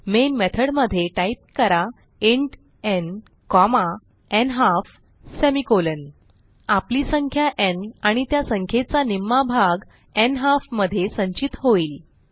main method मध्ये type करा int n comma n half semicolon आपली संख्या न् आणि त्या संख्येचा निम्मा भाग न्हाल्फ मध्ये संचित होईल